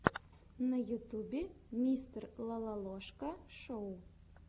на ютьюбе мистер лололошка шоу